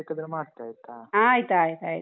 ಮತ್ತೆ ಬೇಕಾದ್ರೆ ಮಾಡ್ತೆ. ಆಯ್ತಾ?